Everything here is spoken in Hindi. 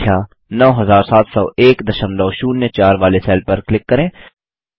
कुल संख्या 970104 वाले सेल पर क्लिक करें